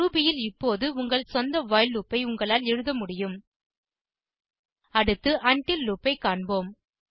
Ruby ல் இப்போது உங்கள் சொந்த வைல் லூப் ஐ உங்களால் எழுத முடியும் அடுத்து உண்டில் லூப் ஐ காண்போம்